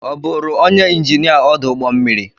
Ọ bụụrụ onye injinia ọdụ ụgbọ mmiri?